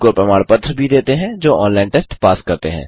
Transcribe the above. उनको प्रमाण पत्र भी देते हैं जो ऑनलाइन टेस्ट पास करते हैं